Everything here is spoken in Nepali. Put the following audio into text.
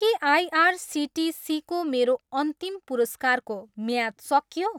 के आइआरसिटिसीको मेरो अन्तिम पुरस्कारको म्याद सकियो?